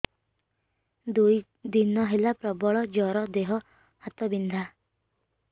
ଦୁଇ ଦିନ ହେଲା ପ୍ରବଳ ଜର ଦେହ ହାତ ବିନ୍ଧା